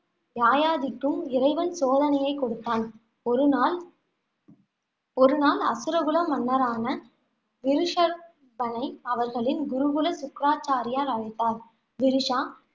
யயாதிக்கும் இறைவன் சோதனையை கொடுத்தான். ஒருநாள் ஒருநாள் அசுரகுல மன்னரான விருஷர் பனை அவர்களின் குலகுரு சுக்ராச்சாரியார் அழைத்தார். விருஷா